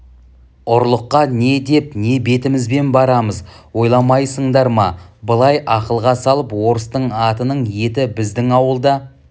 ұлыққа не деп не бетімізбен барамыз ойламайсыңдар ма былай ақылға салып орыстың атының еті біздің ауылда